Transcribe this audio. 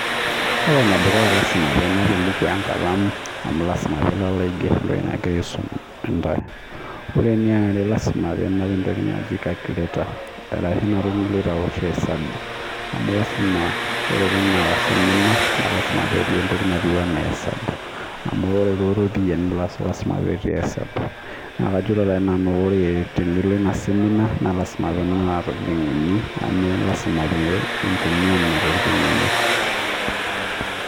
Kore ene dukuya lazima peyie inap embuku enkalamu amu lazima peyie ilo aiger entoki naisumitai ntae. Kore eniare naa lazima peyie inap entoki naji calculator aashu ena toki niloito awoshie hesabu amu lazima kore teninap naa ketii entoki naijo hesabu amu kore too ropiyiani naa lazima pee ias hesabu. Neaku kajito naji nani kore tenilo ina seminar piinap nena tokitin uni amu lazima pee intumia nena tokitin uni.